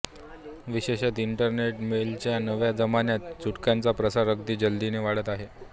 विशेषतः इंटरनेटईमेलच्या नव्या जमान्यात चुटक्यांचा प्रसार अगदी जलदीने वाढत आहे